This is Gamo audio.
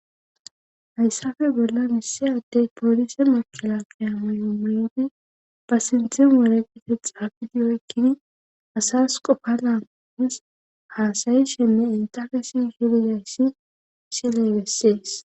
Hayssafe bolla missiyadey poolise makela qeyamayomoyoti ba sinthin waregite xaafidi oykkini asas qopalas haasayi shenne intakesi hilizayssi sileybessees.